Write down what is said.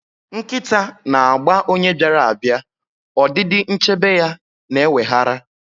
Nkịta na-agba onye bịara abịa, ọdịdị nchebe ya na-eweghara.